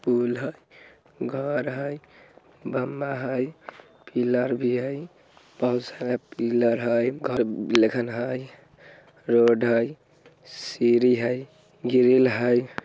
पुल हाई घर हाई बंबा हाई पिलर भी हाई बहुत सारा पिलर हाई घर हाई रोड़ हाई सीरी हाई गिरिल हाई।